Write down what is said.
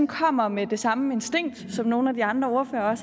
kommer med det samme instinkt som nogle af de andre ordførere